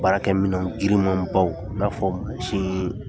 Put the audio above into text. Baarakɛ minan giriman baw i n'a fɔ